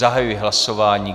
Zahajuji hlasování.